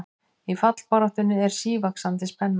Í fallbaráttunni er sívaxandi spenna